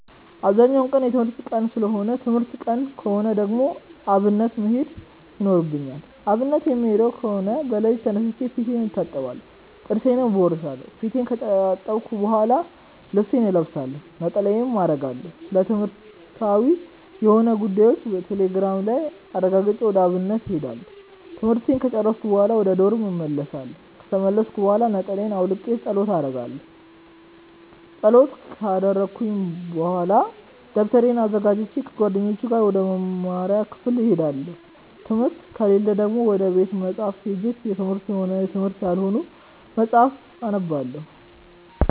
አብዛኛው ቀን የትምህርት ቀን ሰለሆነ ትምህርት ቀን ከሆነ ደግሞ አብነት መሄድ ይኖርብኛል። አብነት የምሄድ ከሆነ በለሊቱ ተነስቼ ፊቴን እታጠባለሁ ጥርሴን እቦርሻለው። ፊቴን ከታጠብኩ በሆላ ልብሴን እለብሳለሁ፣ ነጠላዬን አረጋለሁ፣ ስለትምህርትዊ የሆኑ ጉዳዮችን ቴሌግራም ላይ አረጋግጬ ወደ አብነት እሄዳለሁ። ትምህርቱን ከጨርስኩኝ በሆላ ወደ ዶርም እመልሳለው። ከተመለስኩኝ ብሆላ ነጠላየን አውልቄ ፀሎት አረጋለው። ፀሎት ከረኩኝ በሆላ ደብተሬን አዘጋጅቼ ከጓደኞቼ ጋር ወደ መምሪያ ክፍል እሄዳለው። ትምህርት ከሌለ ደግሞ ወደ ቤተ መፅሀፍት ሄጄ የትምህርትም ሆነ የትምህርታዊ ያልሆኑ መፅሀፍትን አነባለው።